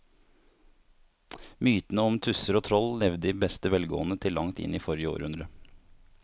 Mytene om tusser og troll levde i beste velgående til langt inn i forrige århundre.